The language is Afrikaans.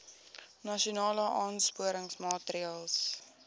nasionale aansporingsmaatre ls